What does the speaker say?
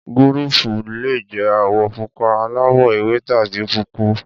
Gúréèpù le jẹ́ àwọ̀ pupa, aláwọ̀-ewé tàbí pọ́púùpù.